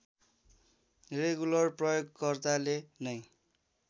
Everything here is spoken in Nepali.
रेगुलर प्रयोगकर्ताले नै